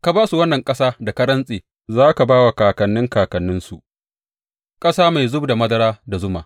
Ka ba su wannan ƙasa da ka rantse za ka ba wa kakanni kakanninsu, ƙasa mai zub da madara da zuma.